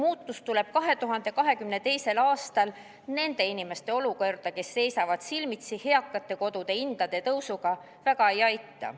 Lubadused, et 2022. aastal tuleb nende inimeste olukorda, kes seisavad silmitsi eakatekodude hindade tõusuga, mingi muutus, praegu suurt ei aita.